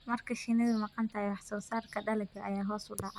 Marka shinnidu maqan tahay, wax-soo-saarka dalagga ayaa hoos u dhaca.